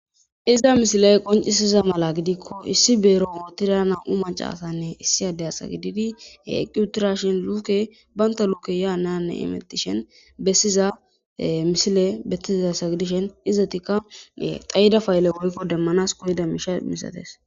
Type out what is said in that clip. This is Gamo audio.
Iza misilay qoncisiza mala gidikko issi beero ootira namu'u macaasanne issi adey asa gididi he eqqutura shin luuke baynta luuke yaa nanne imettishen bessiza misile bettizasa gidishen izatikka xayida faayele hoykko demmanas kuyida misha misates.